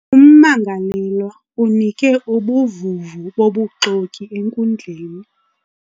Ummangalelwa unike ubuvuvu bobuxoki enkundleni.